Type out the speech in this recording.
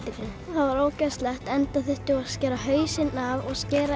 það var ógeðslegt enda þurftum við að skera hausinn af og skera